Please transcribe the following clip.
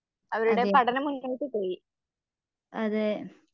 അതെ അതെ